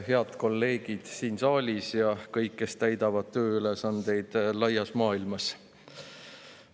Head kolleegid siin saalis ja kõik, kes täidavad tööülesandeid laias maailmas!